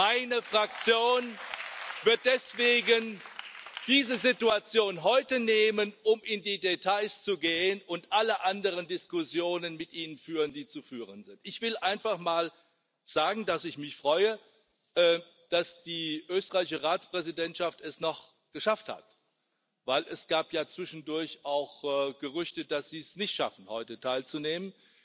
Meine Fraktion wird deswegen diese Situation heute nutzen, um in die Details zu gehen und alle anderen Diskussionen mit Ihnen führen, die zu führen sind. Ich will einfach mal sagen, dass ich mich freue, dass die österreichische Ratspräsidentschaft es noch geschafft hat denn es gab ja zwischendurch auch Gerüchte, dass sie es nicht schaffen heute teilzunehmen.